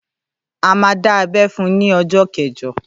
À mà dá abé fún ní ọjọ́ kẹjọ.